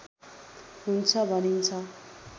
हुन्छ भनिन्छ